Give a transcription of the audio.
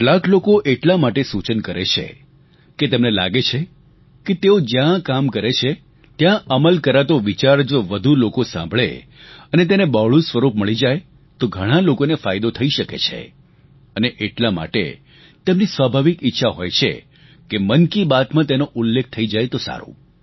કેટલાક લોકો એટલા માટે સૂચન કરે છે કે તેમને લાગે છે કે તેઓ જ્યાં કામ કરે છે ત્યાં અમલ કરાતો વિચાર જો વધુ લોકો સાંભળે અને તેને બહોળું સ્વરૂપ મળી જાય તો ઘણા લોકોને ફાયદો થઈ શકે છે અને એટલા માટે તેમની સ્વાભાવિક ઈચ્છા હોય છે કે મન કી બાતમાં તેનો ઉલ્લેખ થઈ જાય તો સારું